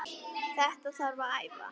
Þetta þarf að æfa.